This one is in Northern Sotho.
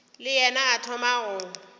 le yena a thoma go